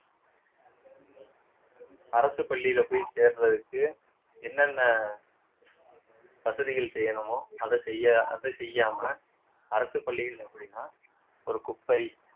அரசு பள்ளியில போய் சேர்றதுக்கு என்னென்ன வசதிகள் செய்யணுமோ அத செய்ய அத செய்யாம அரசு பள்ளிகள் எப்படின்னா ஒரு குப்பை